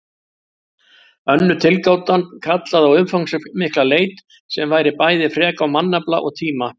Önnur tilgátan kallaði á umfangsmikla leit sem væri bæði frek á mannafla og tíma.